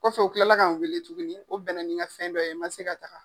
Kɔfɛ u tilala ka n wele tuguni, o bɛnna nin ka fɛn dɔ ye, n ma se ka taa.